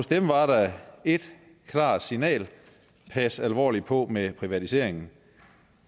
dem var der et klart signal pas alvorligt på med privatiseringen